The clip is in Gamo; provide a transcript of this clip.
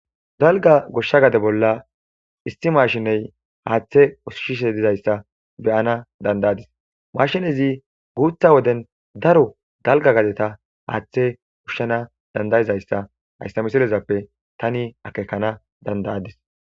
Dalgga goshsha gade bollan isti mashine haaththe ushshishe diza ista be'ana dandayetees. Mashinezi guutha wodden daro dalgga gadeththa haaththe ushana dandayida iza. Hayssa misilezappe tani akeekana dandayas.